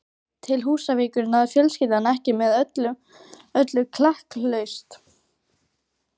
Til Húsavíkur náði fjölskyldan ekki með öllu klakklaust.